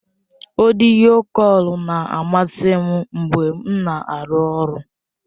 Ọdịyo kọl na-amasị m mgbe m na-arụ ọrụ.